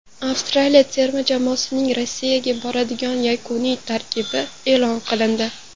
Avstraliya terma jamoasining Rossiyaga boradigan yakuniy tarkibi e’lon qilindi.